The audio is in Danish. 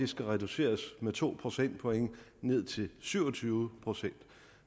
skal reduceres med to procentpoint ned til syv og tyve procent